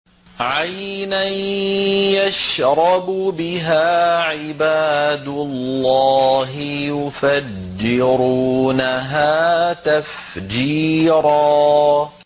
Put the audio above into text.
عَيْنًا يَشْرَبُ بِهَا عِبَادُ اللَّهِ يُفَجِّرُونَهَا تَفْجِيرًا